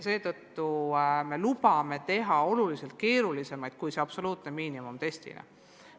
Seetõttu me lubame teha oluliselt keerulisemaid teste kui see absoluutset miinimumi silmas pidav test.